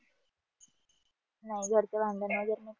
नाही घरच भांडण